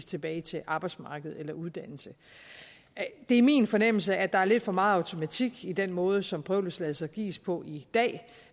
tilbage til arbejdsmarkedet eller uddannelse det er min fornemmelse at der er lidt for meget automatik i den måde som prøveløsladelser gives på i dag